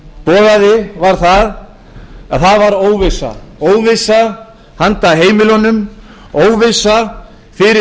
boðaði var að það var óvissa óvissa handa heimilunum óvissa fyrir